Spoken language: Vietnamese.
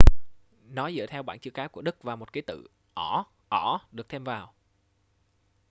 nó dựa theo bảng chữ cái của đức và một ký tự õ/õ được thêm vào